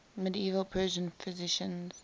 medieval persian physicians